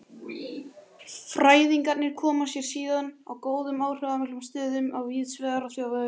Fræðingarnir koma sér síðan fyrir í góðum áhrifamiklum stöðum víðsvegar í þjóðfélaginu.